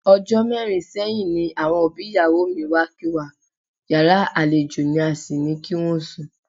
O̩jó̩ mé̩rin sé̩yìn ni àwo̩n òbí ìyàwó mi wá kí wa, yàrá àlejò ní a sì ní kí wó̩n sùn.